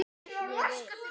Ég vil!